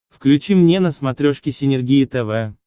включи мне на смотрешке синергия тв